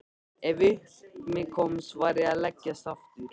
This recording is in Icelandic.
Ef upp um mig komst varð ég að leggjast aftur.